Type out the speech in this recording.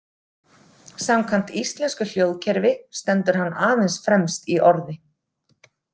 Samkvæmt íslensku hljóðkerfi stendur hann aðeins fremst í orði.